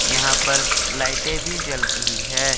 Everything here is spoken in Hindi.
यहां पर लाइटें भी जल रही हैं।